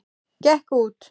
Gekk út!